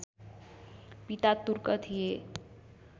पिता तुर्क थिए